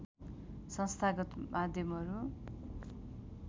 संस्थागत माध्यमहरू